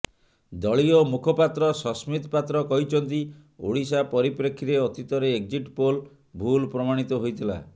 ଦଳୀୟ ମୁଖପାତ୍ର ସସ୍ମିତ୍ ପାତ୍ର କହିଛନ୍ତି ଓଡ଼ିଶା ପରିପ୍ରେକ୍ଷୀରେ ଅତୀତରେ ଏକଜିଟ୍ ପୋଲ ଭୁଲ ପ୍ରମାଣିତ ହୋଇଥିଲା